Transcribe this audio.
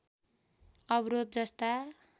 अवरोध जस्ता